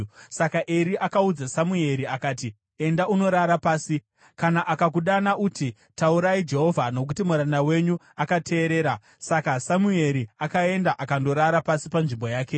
Saka Eri akaudza Samueri kuti, “Enda unorara pasi, kana akakudana, uti, ‘Taurai Jehovha, nokuti muranda wenyu akateerera.’ ” Saka Samueri akaenda akandorara pasi, panzvimbo yake.